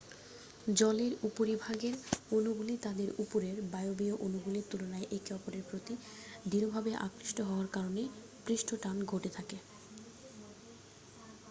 জলের উপরিভাগের অণুগুলি তাদের উপরের বায়বীয় অণুগুলির তুলনায় একে অপরের প্রতি দৃঢ়ভাবে আকৃষ্ট হওয়ার কারণে পৃষ্ঠটান ঘটে থাকে